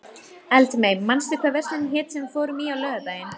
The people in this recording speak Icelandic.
Eldmey, manstu hvað verslunin hét sem við fórum í á laugardaginn?